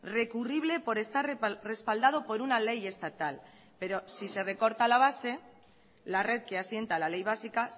recurrible por estar respaldado por una ley estatal pero si se recorta la base la red que asienta la ley básica